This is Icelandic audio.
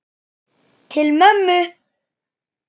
Til mömmu.